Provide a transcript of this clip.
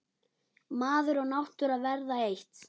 Maður og náttúra verða eitt.